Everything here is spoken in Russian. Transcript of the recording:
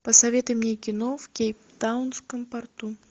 посоветуй мне кино в кейптаунском порту